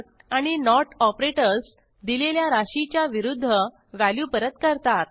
आणि note operators दिलेल्या राशीच्या विरूध्द व्हॅल्यू परत करतात